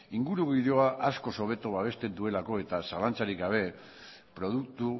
ingurugiroa askoz hobeto babesten duelako eta zalantzarik gabe produktu